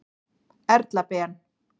Erla Ben.